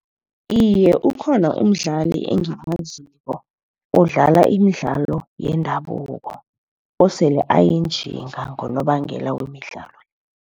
Iye, ukhona umdlali engimaziko odlala imidlalo yendabuko osele ayinjinga ngonobangela wemidlalo.